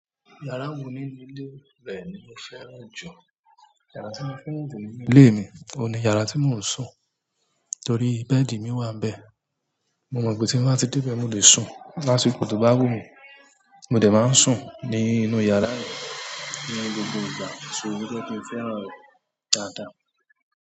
Yàrá wo nínú ilé rẹ ni o fẹ́ràn jù? Yàrá tí mo fẹ́ràn jù nínú ilé mi, òun ni yàrá tí mò ń sùn torí bẹ́ẹ̀dì mi wà níbẹ̀. Mo mọ̀ pé tí n bá ti dé ibẹ̀, mo lè sùn lásìkò to bá wù mí. Mo dẹ̀ máa ń sùn ní inú yàrá mi ní gbogbo ìgbà. So bí ó ti fẹ́ràn rẹ̀ dáadáa.